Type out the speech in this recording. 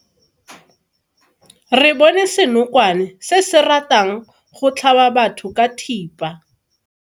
Re bone senokwane se se ratang go tlhaba batho ka thipa.